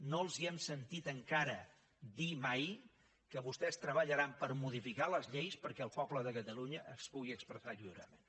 no els hem sentit encara dir mai que vostès treballaran per modificar les lleis perquè el poble de catalunya es pugui expressar lliurement